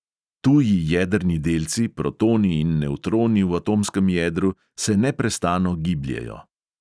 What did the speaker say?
Tuji jedrni delci, protoni in nevtroni v atomskem jedru, se neprestano gibljejo.